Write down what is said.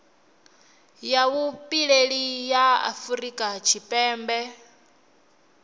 ya vhupileli ya afurika tshipembe